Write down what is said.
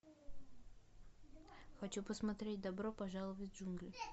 хочу посмотреть добро пожаловать в джунгли